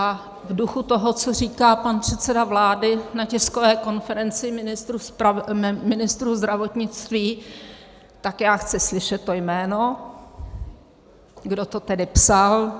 A v duchu toho, co říká pan předseda vlády na tiskové konferenci ministru zdravotnictví, tak já chci slyšet to jméno, kdo to tedy psal.